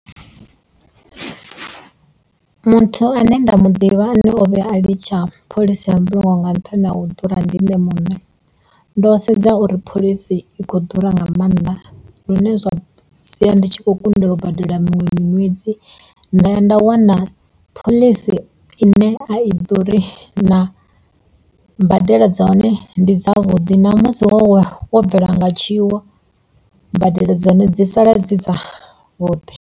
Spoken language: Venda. Muthu ane nda mu ḓivha ane o vhuya a litsha phoḽisi ya mbulungo nga nṱhani ha u ḓura ndi nṋe muṋe ndo sedza uri phoḽisi i khou ḓura nga maanḓa lune zwa sia ndi tshi kho kundelwa u badela miṅwe miṅwedzi nda ya nda wana phoḽisi ine a i ḓuri na mbadelo dza hone ndi dza vhuḓi na musi wo wo bvelwa nga tshiwo mbadelo dza hone dzi sala dzi dzavhuḓi.